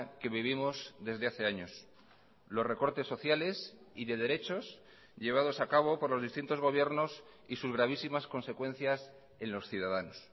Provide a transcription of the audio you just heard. que vivimos desde hace años los recortes sociales y de derechos llevados a cabo por los distintos gobiernos y sus gravísimas consecuencias en los ciudadanos